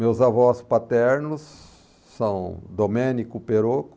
Meus avós paternos são Domênico Perocco,